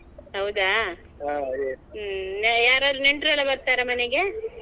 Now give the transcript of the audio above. ಹೌದಾ ಹ್ಮ್ ಯಾರಾದ್ರೂ ನೆಂಟ್ರೆಲ್ಲಾ ಎಲ್ಲ ಬರ್ತಾರಾ ಮನೆಗೆ?